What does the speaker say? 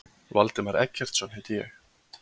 Valdimar Eggertsson heiti ég.